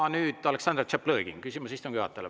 Aga nüüd, Aleksandr Tšaplõgin, küsimus istungi juhatajale.